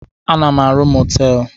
Ana m arụ mọtelụ.